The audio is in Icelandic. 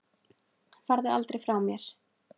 Farðu aldrei frá mér.